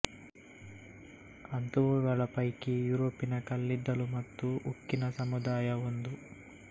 ಅಂಥವುಗಳ ಪೈಕಿ ಯುರೋಪಿನ ಕಲ್ಲಿದ್ದಲು ಮತ್ತು ಉಕ್ಕಿನ ಸಮುದಾಯ ಒಂದು